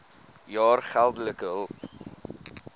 jaar geldelike hulp